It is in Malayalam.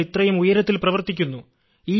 ഞങ്ങൾ ഇത്രയും ഉയരത്തിൽ പ്രവർത്തിക്കുന്നു